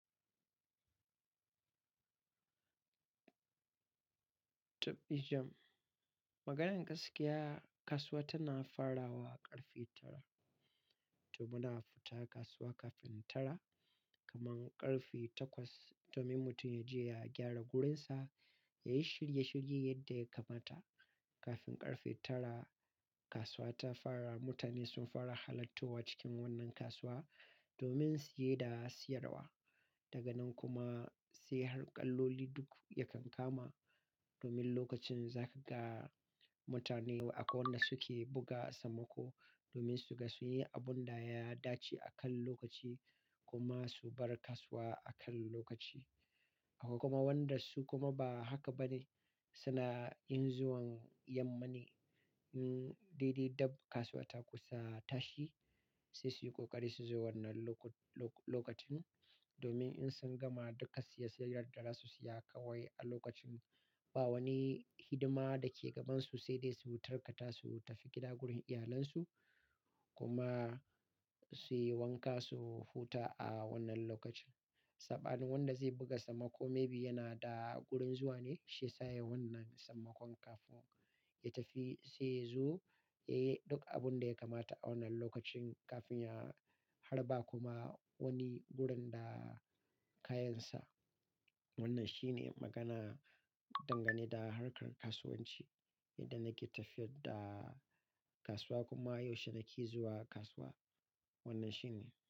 Tabbijam. Maganar gaskiya, kasuwa tana farawa ƙarfe tara. To muna fita kasuwa ƙarfe tara kamar ƙarfe takwas domin mutum ya je ya gyara wurinsa, yayi shirye-shirye yadda ya kamata. Ƙafin ƙarfe tara kasuwa ta fara, mutane sun fara halartuwa cikin wannan kasuwa domin siye da sayarwa. Daga nan kuma sai har ƙalloli duk yakan kama domin lokacin zaka ga mutane akwai wanda suke buga sammako domin suga sun yi abun da ya dace akan lokaci kuma su bar kasuwa akan lokaci. Akwai kuma wanda su kuma ba haka ba ne, suna yin zuwan yamma ne. In dai-dai dab kasuwa ta kusa tashi sai su yi ƙoƙari su zo wannan lokacin domin in sun gama dukka siyar, sayar da zasu saya kawai a lokacin. Ba wani hidima da ke gabansu sai dai su tarkata, su tafi gida wurin iyalansu kuma su yi wanka su huta a wannan lokacin. Sabanin wanda zai buga sammako, maybe yana da gurin zuwa ne shiyasa yayi wannan sammakon kafin ya tafi sai zo yayi duk abun da ya kamata a wannan lokacin kafin ya harba kuma wani gurin da kayansa. Wannan shine magana dangane da harkar kasuwanci idan nake tafiyar da kasuwa kuma yaushe nake zuwa kasuwa. Wannan shine.